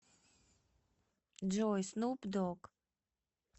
джой снуп дог